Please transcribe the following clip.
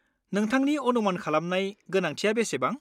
नोंथांनि अनुमान खालामनाय गोनांथिया बेसेबां?